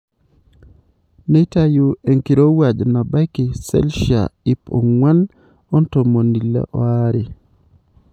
Neitayu enkirowuaj nabaiki selshia iip ongwaan ontomoni ile oaree.